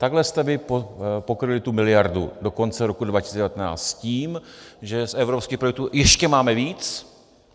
Takhle jste vy pokryli tu miliardu do konce roku 2019 s tím, že z evropských projektů ještě máme víc.